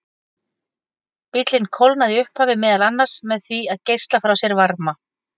Bíllinn kólnaði í upphafi meðal annars með því að geisla frá sér varma.